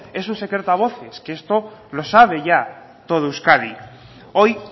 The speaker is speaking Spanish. es un secreto a voces que esto lo sabe todo euskadi ya hoy